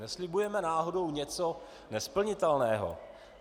Neslibujeme náhodou něco nesplnitelného?